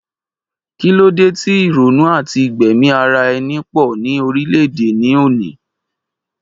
Kí ló de ti ìrònú àti gbẹ̀mí ara ẹni po ni orile-ede ní òní